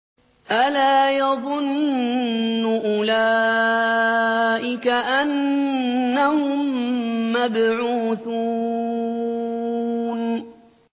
أَلَا يَظُنُّ أُولَٰئِكَ أَنَّهُم مَّبْعُوثُونَ